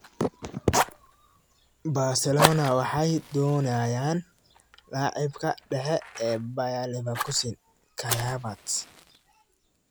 (All-Nigeria Soccer) Barcelona waxay doonayaan laacibka dhexe ee Bayer Leverkusen Kai Havertz.